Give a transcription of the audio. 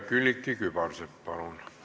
Külliki Kübarsepp, palun!